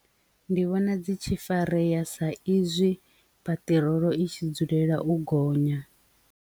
Ndi vhona dzi tshi farea sa izwi peṱirolo i tshi dzulela u gonya.